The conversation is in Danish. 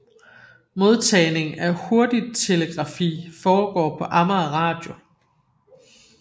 Modtagning af hurtigtelegrafi foregår på Amager Radio